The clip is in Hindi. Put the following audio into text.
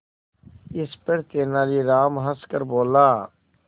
इस पर तेनालीराम हंसकर बोला